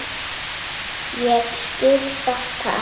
Ég skil það ekki.